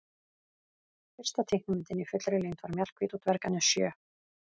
Fyrsta teiknimyndin í fullri lengd var Mjallhvít og dvergarnir sjö.